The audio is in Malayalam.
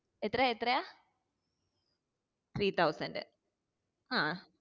എത്രയാ എത്രയാ three thousand ആഹ്